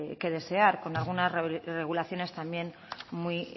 que desear con algunas regulaciones también muy